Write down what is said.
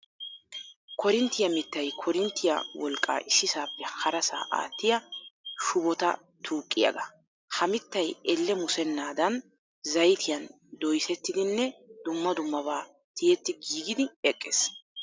Koorinttiya mittay koorinttiya wolqqaa issisaappe harasaa aattiya shubota tuuqiyagaa. Ha mittay elle musennaadan zayitiyan doyisettidinne dumma dummabaa tiyetti giigidi eqqees.